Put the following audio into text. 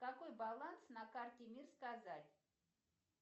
какой баланс на карте мир сказать